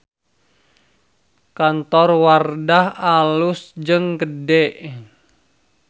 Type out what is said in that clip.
Kantor Wardah alus jeung gede